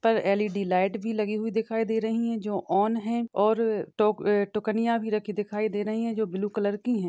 छत पर LED. Light भी लगी हुई दिखाई दे रही है जो ऑन है और टोक-टोकनिया भी रखी दिखाई दे रही है जो ब्लू कलर की है।